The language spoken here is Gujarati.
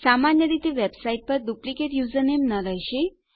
સામાન્ય રીતે વેબસાઇટ પર તમારી પાસે ડુપ્લીકેટ યુઝરનેમ ન રહેશે